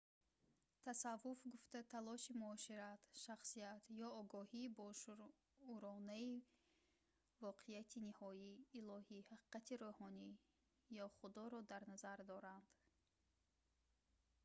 тасаввуф гуфта талоши муошират шахсият ё огоҳии бошууронаи воқеияти ниҳоӣ илоҳӣ ҳақиқати рӯҳонӣ ё худоро дар назар доранд